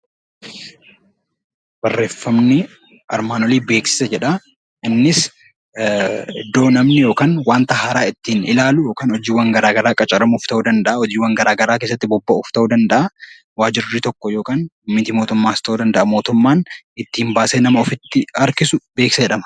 Beeksisi iddoo namni wanta haaraa ittiin ilaalu yookaan qacaramuuf ta'uu danda'a hojiiwwan garaagaraa keessatti bobba'uuf ta'uu danda'a. Waajirri tokko kan mit-mootummaas ta'uu danda'a mootummaan baasee ittiin ofitti nama harkisu beeksisa jedhama.